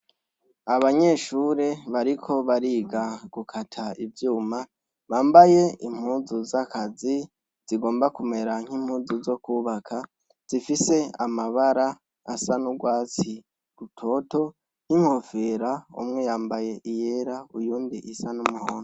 Abanyeshuri bariko bariga gukata ivyuma, bambaye impuzu z'akazi zigomba kumera nk'impuzu zo kubaka, zifise amabara asa n'urwatsi rutoto, n'inkofera umwe yambaye iyera uyundi isa n'umuhondo.